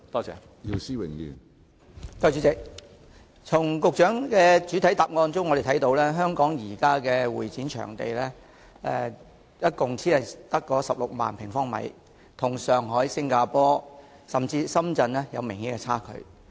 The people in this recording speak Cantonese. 主席，我們從局長的主體答覆中得知，香港現時的會展場地只有16萬平方米，與上海、新加坡甚至深圳比較有明顯的差距。